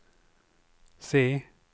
C